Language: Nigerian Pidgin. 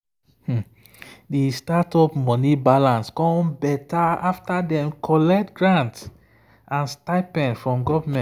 the startup money balance come better after dem collect grant and stipend from government.